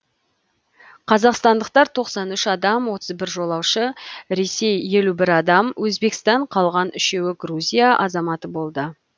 қазақстандықтар тоқсан үш адам отыз бір жолаушы ресей елу бір адам өзбекстан қалған үшеуі грузия азаматы болды